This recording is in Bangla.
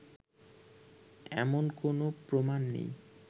এমন কোনও প্রমাণ নেই